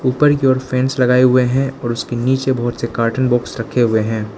ऊपर की ओर फैंस लगाए हुए हैं और उसके नीचे बहुत से कार्टून बॉक्स रखे हुए हैं।